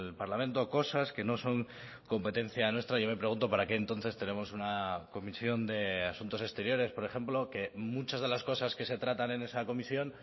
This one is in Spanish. parlamento cosas que no son competencia nuestra yo me pregunto para qué entonces tenemos una comisión de asuntos exteriores por ejemplo que muchas de las cosas que se tratan en esa comisión